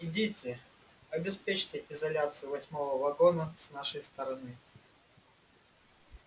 идите обеспечьте изоляцию восьмого вагона с нашей стороны